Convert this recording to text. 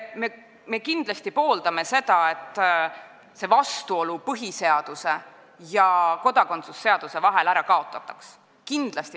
Me kindlasti pooldame seda, et vastuolu põhiseaduse ja kodakondsuse seaduse vahel ära kaotataks.